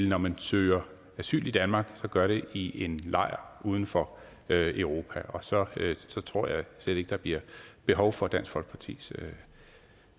når man søger asyl i danmark vil gøre det i en lejr uden for europa og så tror jeg slet ikke der bliver behov for dansk folkepartis